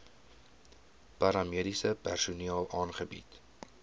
paramediese personeel aangebied